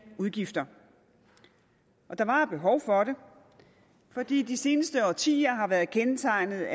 udgifter der var et behov for det fordi de seneste årtier har været kendetegnet